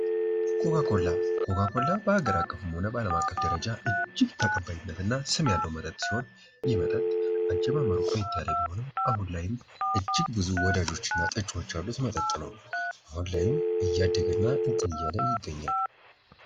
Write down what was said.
ኮካ ኮላ ፦ ኮካ ኮላ በሀገር አቀፍም ሆነ በአለም አቀፍ ደረጃ እጅግ ተቀባይነት እና ስም ያለው መጠጥ ሲሆን ይህ መጠጥ ለየት እያለ ቢሆንም ብዙ ወዳጆች እና ጠጪዎች ያሉት መጠጥ ነው ። አሁን ላይም እያደገ እና እንትን እያለ ይገኛል ።